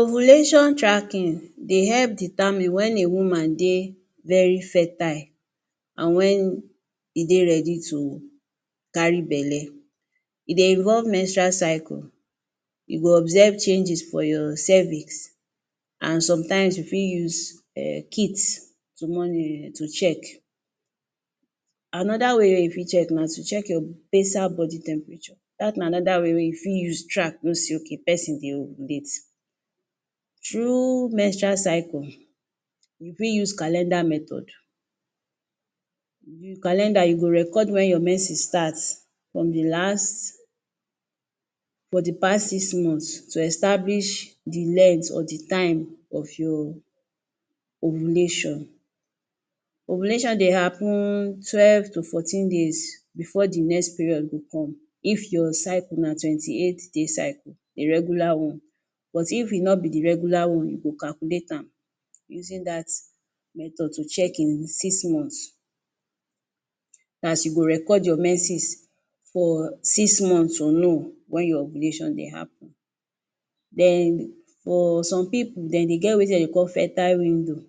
Ovulation tracking dey help determine when a woman dey very fertile and when e dey ready to carry belly. E dey involve menstrual cycle. You go observe changes for your cervix. And sometimes you fit use um kits to moni to check. Another way wey you fit check na to check your basal body temperature. Dat na another way wey you fit use track, know sey okay person dey ovulate. Through menstrual cycle, we fit use calendar method. With calendar, calendar you go record when your menstruation starts from the last for the past six months to establish the length or the time of your ovulation. Ovulation dey happen twelve to fourteen days before the next period go come, if your cycle na twenty-eight-day cycle, a regular one. But if e no be the regular one, you go calculate am using dat method to check in six months. Na as you go record your menses for six months to know when your ovulation dey happen. Den for some pipu, de dey get wetin de dey call fertile window.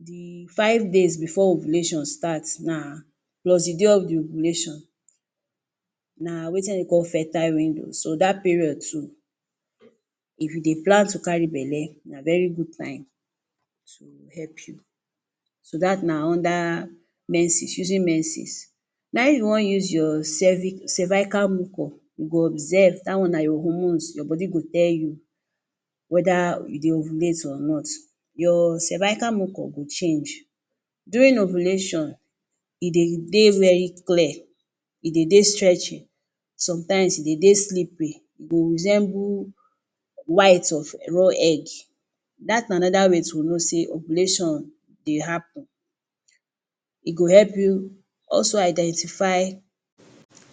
The five days before ovulation start na plus the day of the ovulation na wetin de dey call fertile window. So, dat period too, if you dey plan to carry belly, na very good time to help you. So, dat na under menses, using menses. Na im you wan use your cervic cervical mucus, you go observe. Dat one na your hormones. Your body go tell you whether you dey ovulate or not. Your cervical mucus go change. During ovulation, e dey dey very clear. E dey dey stretchy. Sometimes e dey dey slippery. E go resemble white of um raw egg. Dat na another way to know sey ovulation dey happen. E go help you also identify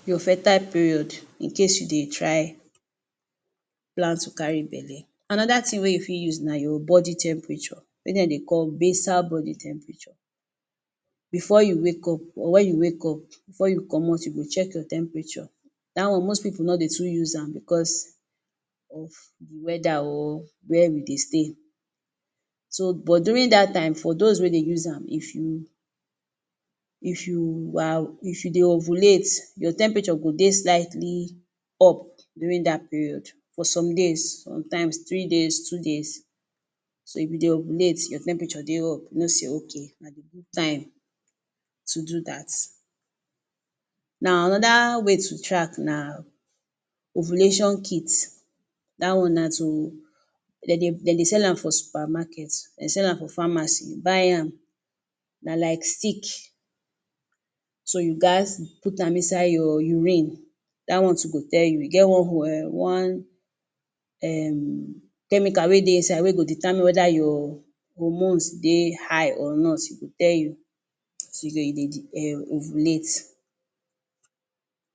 your fertile period in case you dey try plan to carry belly. Another thing wey you fit use na your body temperature, wey dem dey call basal body temperature. Before you wake up or when you wake up, before you comot, you go check your temperature. Dat one most pipu no dey too use am because of the weather or where we dey stay. So, but during dat time, for dose wey dey use am, If you, If you um If you dey ovulate, your temperature go dey slightly up during dat period for some days, sometimes three days, two days. So if you dey ovulate, your temperature dey up. You know sey okay na the good time to do dat. Na another way to track na ovulation kits. Dat one na to, de dey de dey sell am for supermarkets, de sell am for pharmacies. Buy am, na like stick. So, you gat put am inside your urine. Dat one too go tell you. We get one one um chemical wey dey inside wey go determine whether your hormones dey high or not. E go tell you as you dey you dey the um ovulate.